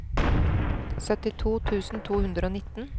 syttito tusen to hundre og nitten